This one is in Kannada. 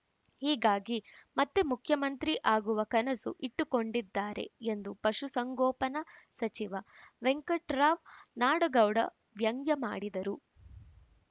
ಹೀಗಾಗಿ ಮತ್ತೆ ಮುಖ್ಯಮಂತ್ರಿ ಆಗುವ ಕನಸು ಇಟ್ಟುಕೊಂಡಿದ್ದಾರೆ ಎಂದು ಪಶು ಸಂಗೋಪನಾ ಸಚಿವ ವೆಂಕಟರಾವ್‌ ನಾಡಗೌಡ ವ್ಯಂಗ್ಯ ಮಾಡಿದರು